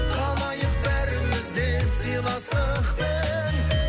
қалайық бәріміз де сыйластықпен